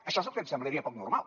això és el que em semblaria poc normal